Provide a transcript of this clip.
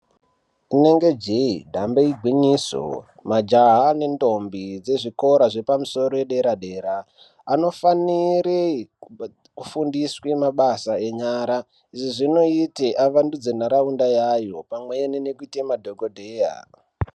Rinenge jeee dambe igwinyiso majaha nentombi dzezvikora zvepamusoro dera-dera anofanire kufundiswe mabasa enyara izvi zvinoite avandudze ndaraunda yayo pamweni nekuite madhogodheya.